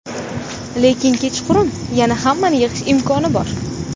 Lekin kechqurun yana hammani yig‘ish imkoni bor.